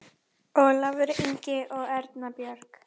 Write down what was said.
Ólafur Ingi og Erna Björg.